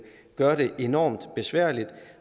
gør det enormt besværligt